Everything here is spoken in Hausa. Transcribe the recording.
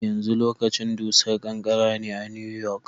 Yanzu lokacin dusar ƙanƙara ne a New York.